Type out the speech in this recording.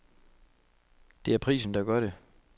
Det er prisen, der gør det.